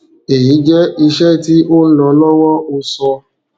eyi jẹ iṣẹ ti o nlọ lọwọ o sọ